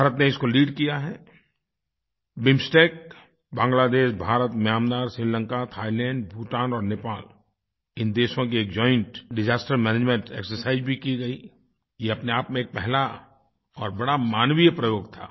भारत ने इसको लीड किया है BIMSTEC Bangladesh Bharat Myanmar Sri Lanka Thailand Bhutan और नेपाल इन देशों की एक जॉइंट डिसास्टर्स मैनेजमेंट एक्सरसाइज भी की गई ये अपने आप में एक पहला और बड़ा मानवीय प्रयोग था